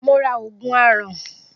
Mo ra Ògùn aràn